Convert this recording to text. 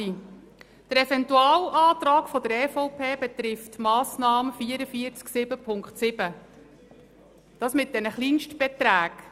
Der Eventualantrag der EVP betrifft die Massnahme 44.7.7, die Kleinstbeträge.